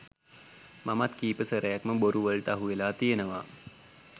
මමත් කීප සැරයක් ම බොරු වලට අහුවෙලා තියනවා.